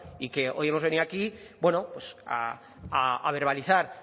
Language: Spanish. y que hoy hemos venido aquí bueno pues a verbalizar